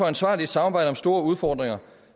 ansvarligt samarbejde om store udfordringer